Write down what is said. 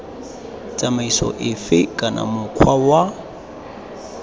tsamaiso efe kana mokgwa wa